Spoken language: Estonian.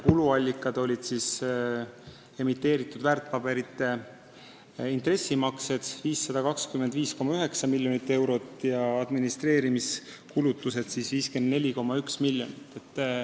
Kuluallikad olid emiteeritud väärtpaberite intressimaksed 525,9 miljonit eurot ja administreerimiskulutused 54,1 miljonit.